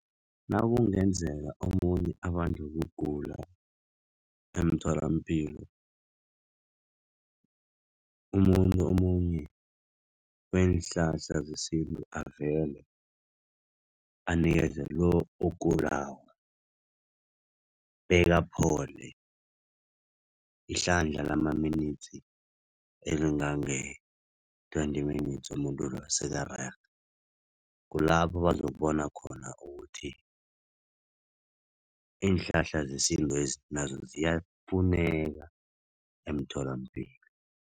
Nakungenzeka omunye abanjwe kugula emtholampilo. Umuntu omunye weenhlahla zesintu avele, anikeze lo ogulako, bekaphole ihlandla lama-minutes elingange twenty minutes umuntu loyo sekarerhe. Kulapho bazokubona khona ukuthi iinhlahla zesintwezi nazo ziyafuneka emtholampilo.